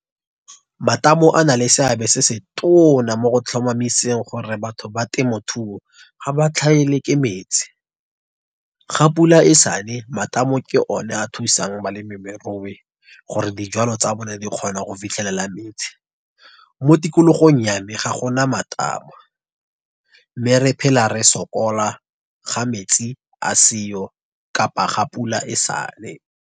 Matamo a na le seabe se se tona, mo go tlhomamiseng gore batho ba temothuo ga ba tlhaelwe ke metsi. Ga pula e sane, matamo ke o ne a thusang balemirui gore dijwalo tsa bone di kgona go fitlhelela metsi. Mo tikologong ya me, ga gona matamo. Mme re phela re sokola ga metsi a seyo kapa ga pula e sane.